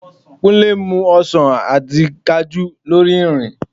Kúnlé ń mu ọsàn àti Kajú lórí ìrìn